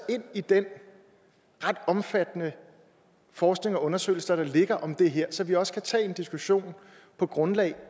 ind i den ret omfattende forskning og de undersøgelser der ligger om det her så vi også kan tage en diskussion på grundlag